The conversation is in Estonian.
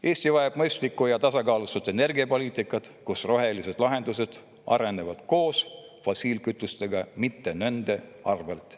Eesti vajab mõistlikku ja tasakaalustatud energiapoliitikat, kus rohelised lahendused arenevad koos fossiilkütustega, mitte nende arvelt.